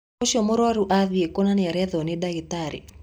Ũcio mũrwaru athiĩ kũ na nĩarethwo nĩ dagĩtarĩ?